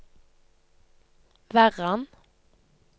Verran